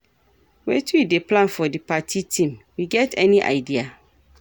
Wetin you dey plan for di party theme, you get any idea?